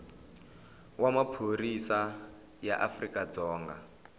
wa maphorisa ya afrika dzonga